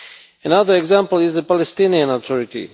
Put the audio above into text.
Another example is the Palestinian Authority.